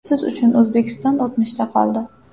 Siz uchun O‘zbekiston o‘tmishda qoldi.